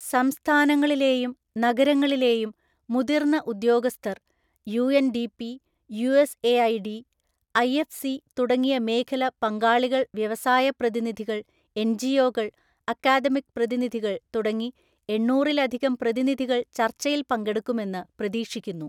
സംസ്ഥാനങ്ങളിലെയും നഗരങ്ങളിലെയും മുതിർന്ന ഉദ്യോഗസ്ഥർ യുഎൻഡിപി, യുഎസ്എഐഡി, ഐഎഫ്സി തുടങ്ങിയ മേഖല പങ്കാളികൾ വ്യവസായ പ്രതിനിധികൾ എൻജിഒകൾ അക്കാദമിക് പ്രതിനിധികൾ തുടങ്ങി എണ്ണൂറിലധികം പ്രതിനിധികൾ ചർച്ചയിൽ പങ്കെടുക്കുമെന്ന് പ്രതീക്ഷിക്കുന്നു.